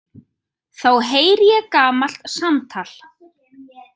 Þá heyri ég gamalt samtal.